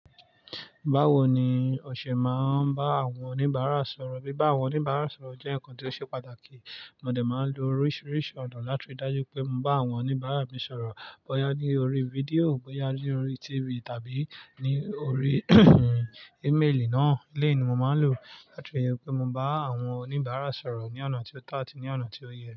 Báwo ni o ṣe máa ń bá àwọn oníbàárà sọ̀rọ̀? Bí bá àwọn oníbàárà sọ̀rọ̀ jẹ́ ǹkan tó ṣe pàtàkì, mo dè máa ń lo oríṣiríṣi ọ̀nà láti ridájú pé mo bá àwọn oníbàárà mi sọ̀rọ̀. Bóyá ní orí fídíò, bóyá ní orí TV tàbí ní orí ímeèlì náà. Eleyi ni mo maa nlo latí ri pe mo ba àwọn oníbàárà sọ̀rọ̀ lọ́nà ti ooto àti loná ti o ye.